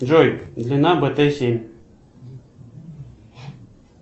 джой длина бт семь